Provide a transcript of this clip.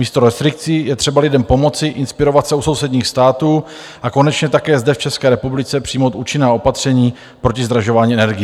Místo restrikcí je třeba lidem pomoci, inspirovat se u sousedních států a konečně také zde v České republice přijmout účinná opatření proti zdražování energií.